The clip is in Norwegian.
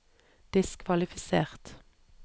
diskvalifisert